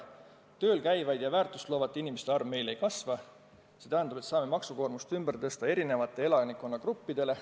Tööl käivate ja väärtust loovate inimeste arv meil ei kasva, see tähendab, et me saame maksukoormust ümber tõsta erinevatele elanikkonnagruppidele.